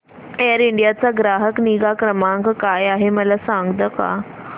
air India चा ग्राहक निगा क्रमांक काय आहे मला सांगता का